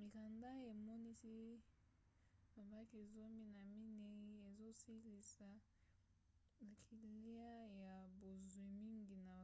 mikanda emonisi babanke zomi na minei ezosalisa bakiliya ya bozwi mingi na